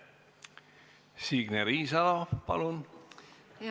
Signe Riisalo, palun!